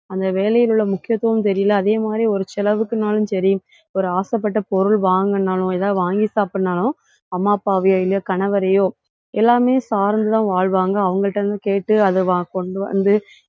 அந்த வேலையில் உள்ள முக்கியத்துவம் தெரியலே. அதே மாதிரி ஒரு செலவுக்குன்னாலும் சரி ஒரு ஆசைப்பட்ட பொருள் வாங்கினாலும் ஏதாவது வாங்கி சாப்பிடுனாலும் அம்மா, அப்பாவையோ இல்லையோ கணவரையோ எல்லாமே சார்ந்துதான் வாழ்வாங்க. அவங்கள்ட்ட இருந்து கேட்டு அதை வா~ கொண்டு வந்து,